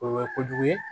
O ye kojugu ye